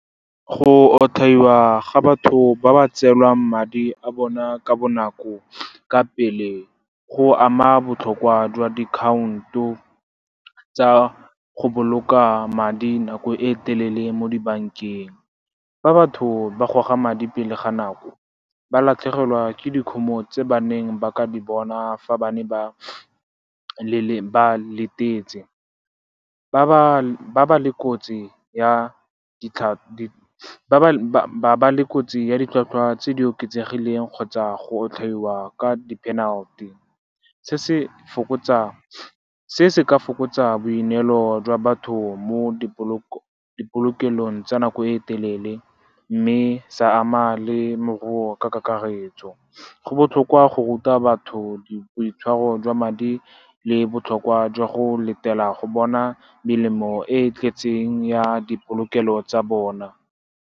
Go otlhaiwa ga batho ba ba tseelwang madi a bona ka bonako, ka pele go ama botlhokwa jwa dikhaonto tsa go boloka madi nako e telele mo di bankeng. Fa batho ba goga madi pele ga nako, ba latlhegelwa ke dikhumo tse ba neng ba ka di bona fa ba ne ba letetse, ba ba le kotsi ya ditlhwatlhwa tse di oketsegileng kgotsa go otlhaiwa ka di-penalty. Se se ka fokotsa boineelo jwa batho mo di polokelong tsa nako e telele mme sa ama le moruo ka kakaretso. Go botlhokwa go ruta batho di boitshwaro jwa madi le botlhokwa jwa go letela go bona melemo e e tletseng ya dipolokelo tsa bona.